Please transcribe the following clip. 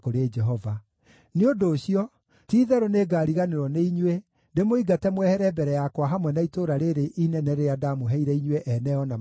Nĩ ũndũ ũcio, ti-itherũ nĩngariganĩrwo nĩ inyuĩ, ndĩmũingate mwehere mbere yakwa hamwe na itũũra rĩĩrĩ inene rĩrĩa ndaamũheire inyuĩ ene o na maithe manyu.